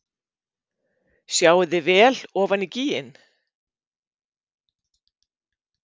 Sjáið þið vel ofan í gíginn?